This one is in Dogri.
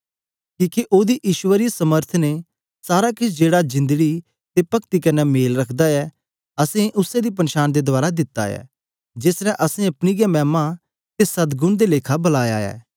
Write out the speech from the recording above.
कीहके ओहदी परमेसर समर्थ ने सारा केछ जेहड़ा जीवन अते पक्ति कन्ने सम्बन्ध रखदा ऐ सानु उसै दी पन्शान दे रहें दिता ऐ जिन्ने सानु अपनी हे मैमा अते सद्गुण दे लेखा बुलाया ऐ